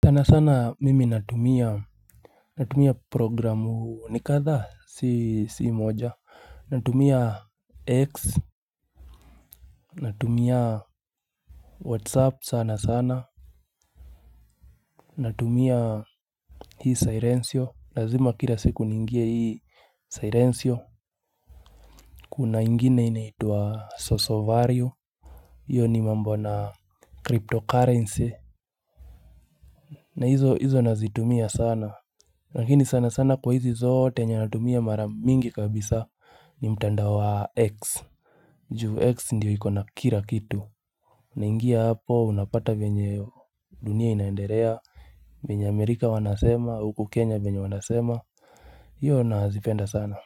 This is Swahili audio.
Tana sana mimi natumia. Natumia programu nikadha si moja. Natumia X. Natumia Whatsapp sana sana. Natumia Hii Sirencio Lazima kila siku ningie hii Syrencio. Kuna ingine inaitua sosovario. Iyo ni mambo na cryptocurrency. Na hizo hizo nazitumia sana lakini sana sana kwa hizi zote yenye natumia mara mingi kabisa ni mtandao wa X. Ju X ndio ikona kira kitu. Na ingia hapo unapata vyenye dunia inaenderea. Venye Amerika wanasema, huku Kenya venye wanasema. Iyo nazifenda sana.